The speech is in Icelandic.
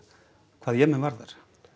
hvað Jemen varðar